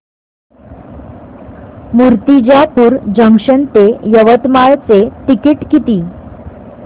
Murtijapur junction ते यवतमाळ चे ticket किती